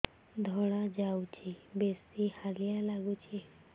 ଧଳା ଯାଉଛି ବେଶି ହାଲିଆ ଲାଗୁଚି